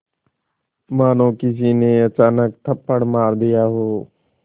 मानो किसी ने अचानक थप्पड़ मार दिया हो